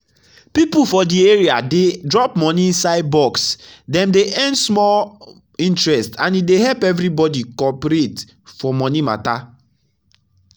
people for the area dey drop money inside box dem dey earn small interest and e dey help everybody cooperate for money matter.